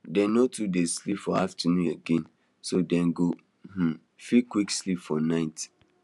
dey no too dey sleep for afternoon again so dem go um fit quick sleep for night